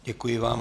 Děkuji vám.